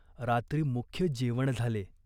रात्री मुख्य जेवण झाले.